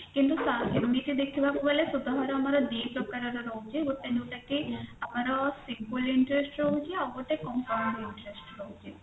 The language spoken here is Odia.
କିନ୍ତୁ ସେମିତି ଦେଖିବାକୁ ଗଲେ ସୁଧହାର ଆମର ଦି ପ୍ରକାରର ରହୁଛି ଗୋଟେ ହେଲାକି ଆମର simple interest ରହୁଛି ଆଉଗୋଟେ compound interest ରହୁଛି